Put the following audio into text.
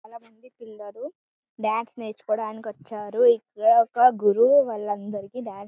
చాల మంది పిల్లలు డాన్స్ నేర్చుకోడానికి వచ్చారు. ఇక్కడ ఒక గురువు వలందరికి డాన్స్ --